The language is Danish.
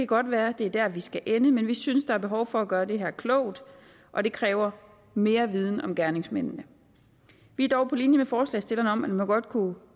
godt være det er der vi skal ende men vi synes der er behov for at gøre det her klogt og det kræver mere viden om gerningsmændene vi er dog på linje med forslagsstillerne om at man godt kunne